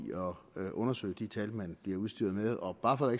at undersøge de tal man bliver udstyret med og bare for at